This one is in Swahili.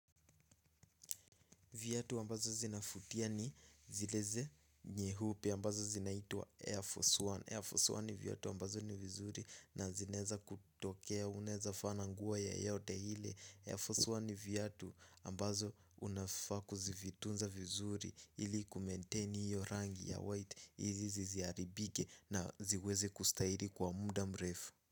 Viatu ambazo zinafutia ni zileze nyeupe ambazo zinaitwa Air Force One Air Force One ni viatu ambazo ni vizuri na zinaeza kutokea unaezafaa na nguo yoyote ile Air Force One ni viatu ambazo unafaa kuzivitunza vizuri ili kumaintain hiyo rangi ya white izi ziziharibike na ziweze kustahili kwa muda mrefu.